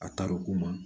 A taar'o ko ma